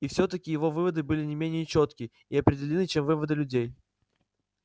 и все таки его выводы были не менее чётки и определённы чем выводы людей